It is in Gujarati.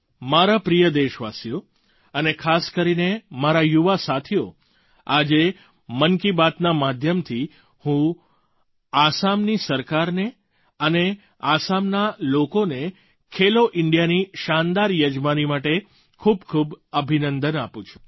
મારા પ્રિય દેશવાસીઓ અને ખાસ કરીને મારા યુવા સાથીઓ આજે મન કી બાતના માધ્યમથી હું આસામની સરકાર અને આસામના લોકોને ખેલો ઇન્ડિયાની શાનદાર યજમાની માટે ખૂબખૂબ અભિનંદન આપું છું